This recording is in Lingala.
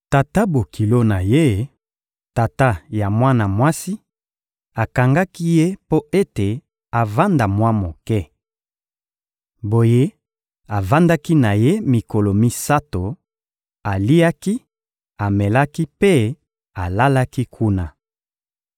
Tata-bokilo na ye, tata ya mwana mwasi, akangaki ye mpo ete avanda mwa moke. Boye avandaki na ye mikolo misato, aliaki, amelaki mpe alalaki kuna.